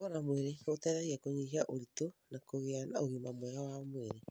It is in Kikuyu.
Kũnogora mwĩrĩ nĩ gũteithagia Kũnyihia ũritũ na kũgĩa na ũgima mwega wa mwĩrĩ.